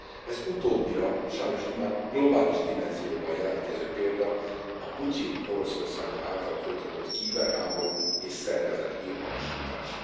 Ez utóbbira sajnos immár globális dimenzióban jelentkező példa, a Putyin Oroszországa által folytatott kiberháború és szervezett hírhamisítás.